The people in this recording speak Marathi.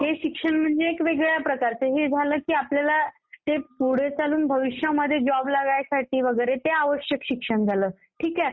ते शिक्षण म्हणजे वेगळ्या प्रकारचं. हे झालं की हे आपल्याला पुढं चालून भविष्यामध्ये जॉब लागण्यासाठी वगैरे ते आवश्यक शिक्षण झालं. ठीक आहे?